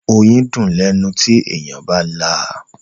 Oyín dùn lẹ́nu tí èèyàn bá là.